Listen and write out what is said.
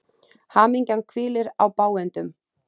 Hamingjan hvílir á bágindum.